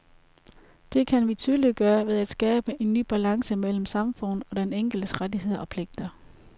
Det kan vi tydeliggøre ved at skabe en ny balance mellem samfundet og den enkeltes rettigheder og pligter.